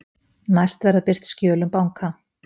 Næst verða birt skjöl um banka